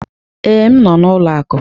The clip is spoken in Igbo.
Ee, m nọ n'ụlọ akụ.